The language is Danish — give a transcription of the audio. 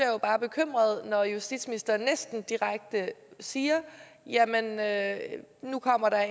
jo bare bekymret når justitsministeren næsten direkte siger at nu kommer der